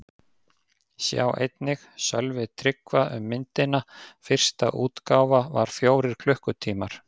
Sjá einnig: Sölvi Tryggva um myndina: Fyrsta útgáfa var fjórir klukkutímar